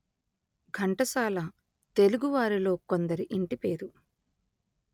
ఘంటసాల తెలుగువారిలో కొందరి ఇంటి పేరు